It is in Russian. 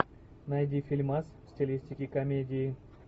найди фильмас в стилистике комедии